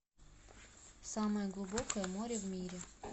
самое глубокое море в мире